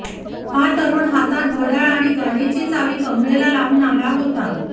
हा तरुण हातात घड्याळ आणि गाडीची चावी कमरेला लावून आला होता